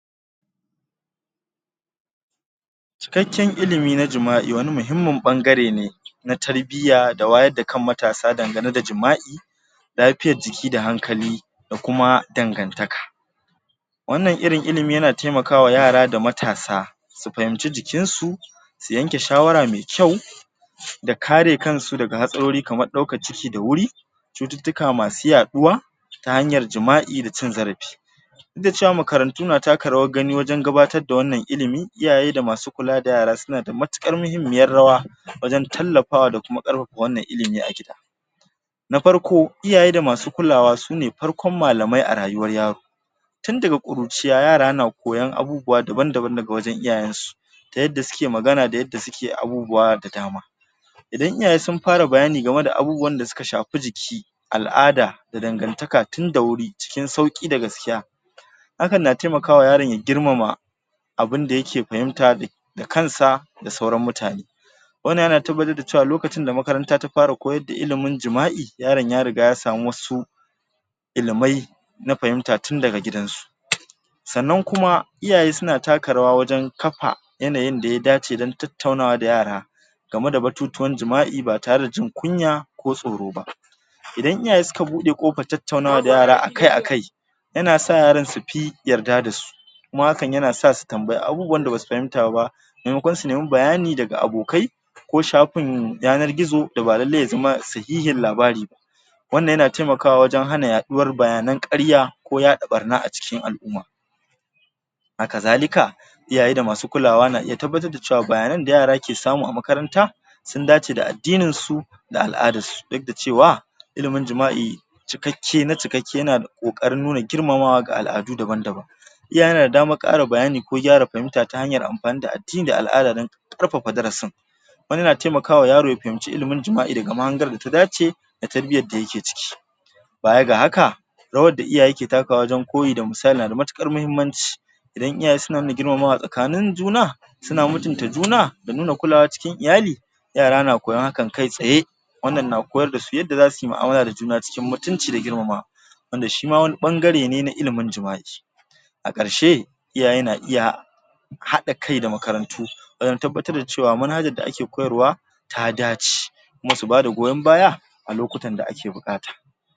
cikakken ilimi na jima'i wani muhimmin bangarene na tarbiya da wayarda kan matasa dangane da jima'i lafiyar jiki da hankali dakuma dangantaka wannan irin ilimi yana taimaka wa yara da matasa su fahimci jikinsu su yanke shawara me kyau da kare kansu daga hatsararo kaman daukan ciki da wuri cututtuka masu yaduwa ta hanyar jima'i da cin zarafi duk da cewa makarantu na taka rawan gani wajan gabatarda wannan ilimi iyaye da masu kulada yara sunada matukan muhimmin rawa wajan tallafawa da kuma karfafa wannan ilimi a gida na farko iyaye da masu kulawa sune farkon malamai a rayuwar yaro tundaga kuruciya yara na koyan abubuwa daban daban daga wajan iyayen nasu da yadda suke magana da yadda suke abubuwa da dama idan iyaye sun fara bayani gameda abubuwan da suka shafi jiki al'ada da dangantaka tunda wuri cikin sauri da gaskiya hakan na taimakawa yaron ya girmama abunda yake fahimta da kansa da sauran mutane wannan yana tabbatar dacewa lokacinda makaranta ta fara koyarda ilimin jima'i yaron ya rigada ya samu wasu ilimai na fahimta tun daga gidansu sa'anan kuma iyaye suna taka rawa wajan kafa yanayin daya dace don tattaunawa da yara gameda batutuwan jima'i ba tareda jin kunya ko tsoroba idan iyaye suka bude kofa kan tattaunawa da yara akai akai yanasa yara sufi yarda dasu kuma hakan yanasa su tambayi abunda basu fahimta ba memakon su nemi bayani daga abokai ko shafin yanar gizo daba lallai yazama sihihin labariba wannan yana taimakawa wajan hana yaduwan bayanan karya ko yada barna acikin al'umma akazalika iyaye da masu kulawa na iya tabbatar da cewa bayanai da yara suke samu a makaranta sun dace da addininsu da al'adarsu duk da cewa ilimin jima'i cikakke na cikakke yanada kokarin nuna girmamawa ga al'adu daban daban yanada daman kara bayani ko gyara fahimta ta hanya amfanida addini ko al'ada don karfafa darasin wani na taimakawa yaro wurin ya fahimci ilimin jima'i daga ma'anga daya dace da tarbiyyanshi bayaga haka rawan da iyaye ke takawa wajan koyi da misali yanada matukar mahimmanci idan iyaye na nuna girmamawa a sakanin juna suna mutunta juna da nuna kulawa cikin iyali yara na koyan haka kai tsaye wannan na koyardasu yanda zasuyi mu'amala da juna cikin mutunci da juna wanda shima wani bangare ne na ilimin jima'i a karshe iyaye na iya hada kai da makarantu wajan tabbatar dacewa manhajan da ake koyarwa ta dace kuma su bada goyan baya alokutan da ake bukata